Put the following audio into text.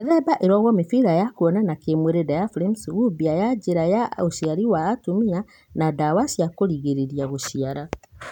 Mĩthemba ĩrogwo mĩbira ya kũonana kĩmwĩrĩ, diaphraims, gũbia ya njĩra ya ũciari wa atumia na ndawa cia kũringĩrĩria gũciara.